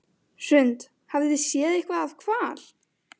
Hrund: Hafið þið séð eitthvað af hval?